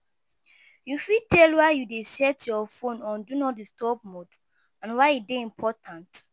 You fit tell why you dey set your phone on 'do not disturb' mode, and why e dey important?